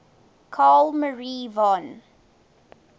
carl maria von